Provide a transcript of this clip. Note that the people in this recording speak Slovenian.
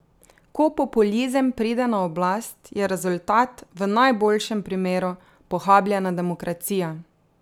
Ko populizem pride na oblast, je rezultat, v najboljšem primeru, pohabljena demokracija.